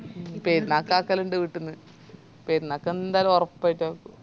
പെരുന്നാക് ആക്കലിൻഡ് വീട്ടിന്ന് പെരുന്നാക്ക് എന്തായാലും ഒറപ്പായിറ്റും ആക്കു